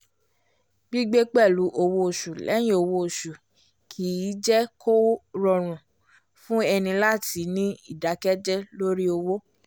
gbigbé pẹ̀lú owó oṣù lẹ́yìn owó oṣù kì í jé kó rọrùn fún ẹni láti ní ìdákẹ́jẹ lórí owó